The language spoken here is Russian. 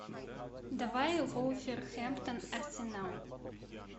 давай вулверхэмптон арсенал